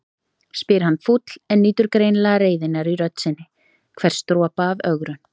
spyr hann fúll en nýtur greinilega reiðinnar í rödd sinni, hvers dropa af ögrun.